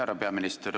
Härra peaminister!